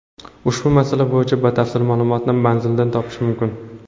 Ushbu masala bo‘yicha batafsil ma’lumotni manzilida topish mumkin.